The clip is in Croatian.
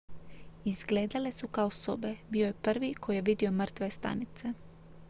izgledale su kao sobe bio je prvi koji je vidio mrtve stanice